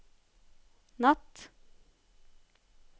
natt